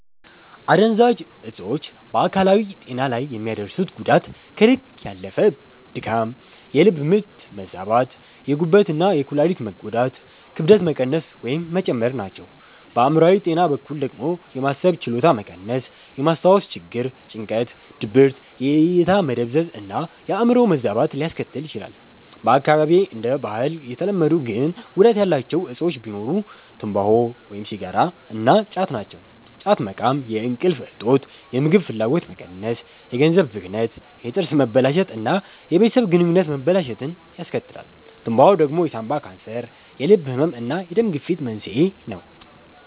አደንዛዥ እጾች በአካላዊ ጤና ላይ የሚያደርሱት ጉዳት ከልክ ያለፈ ድካም፣ የልብ ምት መዛባት፣ የጉበት እና የኩላሊት መጎዳት፣ ክብደት መቀነስ ወይም መጨመር ናቸው። በአእምሮአዊ ጤና በኩል ደግሞ የማሰብ ችሎታ መቀነስ፣ የማስታወስ ችግር፣ ጭንቀት፣ ድብርት፣ የእይታ መደብዘዝ እና የአዕምሮ መዛባት ሊያስከትል ይችላል። በአካባቢዬ እንደ ባህል የተለመዱ ግን ጉዳት ያላቸው እጾች ቢኖሩ ትምባሆ (ሲጋራ) እና ጫት ናቸው። ጫት መቃም የእንቅልፍ እጦት፣ የምግብ ፍላጎት መቀነስ፣ የገንዘብ ብክነት፣ የጥርስ መበላሸት እና የቤተሰብ ግንኙነት መበላሸትን ያስከትላል። ትምባሆ ደግሞ የሳንባ ካንሰር፣ የልብ ህመም እና የደም ግፊት መንስኤ ነው።